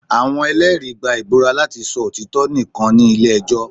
awọn ẹlẹri gba ibúra lati sọ otitọ nikan ni ẹjọ